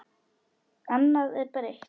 Annað er breytt.